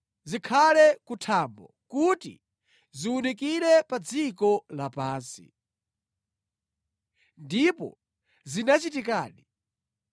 zikhale kuthambo kuti ziwunikire pa dziko lapansi. Ndipo zinachitikadi.”